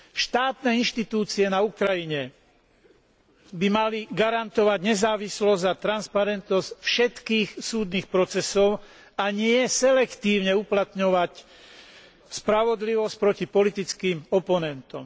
Štátne inštitúcie na Ukrajine by mali garantovať nezávislosť a transparentnosť všetkých súdnych procesov a nie selektívne uplatňovať spravodlivosť proti politickým oponentom.